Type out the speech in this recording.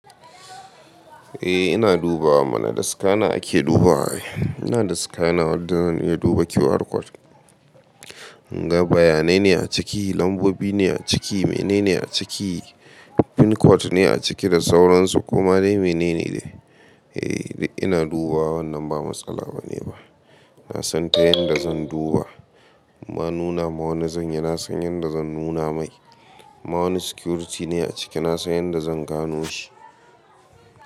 Eh ina duba mana da scanner ake duba. Ina da scanner wanda zan iya duba QR code. Mun ga bayanai ne a ciki, lambobi ne a ciki, mene ne a ciki. PIN code ne a ciki da sauransu, kuma dai mene ne. Eh ina duba wannan ba matsala bane ba. Na san ta yanda zan duba. In ma nuna ma wani zan iya na, san yanda zan nuna mai. I ma wani security ne a ciki na san yadda zan gano shi.